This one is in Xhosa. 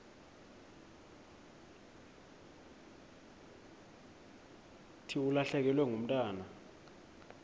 thi ulahlekelwe ngumntwana